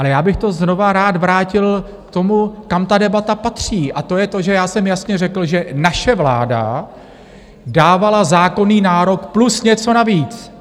Ale já bych to znovu rád vrátil k tomu, kam ta debata patří, a to je to, že já jsem jasně řekl, že naše vláda dávala zákonný nárok plus něco navíc!